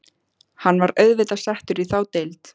Hann var auðvitað settur í þá deild.